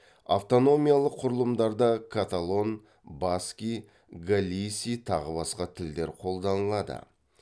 автономиялық құрылымдарда католон баски галиси тағы басқа тілдер қолданылады